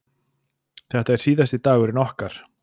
Þetta er síðasti dagurinn okkar.